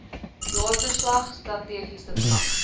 jaarverslag strategiese plan